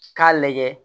K'a lajɛ